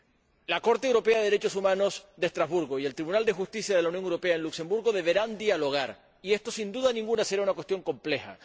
El Tribunal Europeo de Derechos Humanos de Estrasburgo y el Tribunal de Justicia de la Unión Europea en Luxemburgo deberán dialogar y esto, sin duda ninguna, será una cuestión compleja.